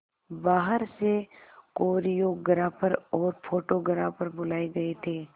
बाहर से कोरियोग्राफर और फोटोग्राफर बुलाए गए थे